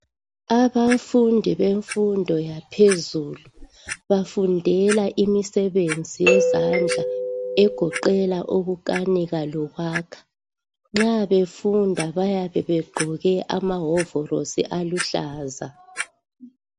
Abafundi bemfundo yaphezulu bafundela umsebenzi owezandla ogoqela ukukanika lokwakha nxa bayabe befunda bayabe begqoke amahovolosi aluhlaza.